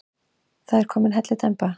Það er komin hellidemba.